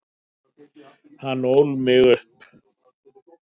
Hann ól mig upp.